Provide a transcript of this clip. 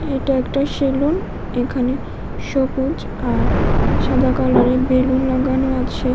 এটা একটা সেলুন এখানে সবুজ আর সাদা কালারের বেলুন লাগানো আছে।